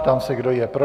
Ptám se, kdo je pro.